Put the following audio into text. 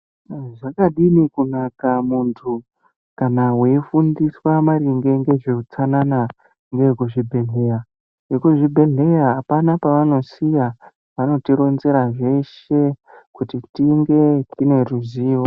Zvakadini kunaka muntu kana weifundiswa maringe ngezveutsanana ngevekuzvibhehleya. Vekuzvibhohleya hapana pavanosiya, vanotironzera zveshe kuti tinge tine ruzivo. .